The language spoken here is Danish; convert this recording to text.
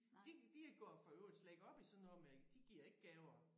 De de går for i øvrigt slet ikke op i sådan noget med de giver ikke gaver